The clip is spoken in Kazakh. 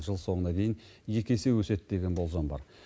жыл соңына дейін екі есе өседі деген болжам бар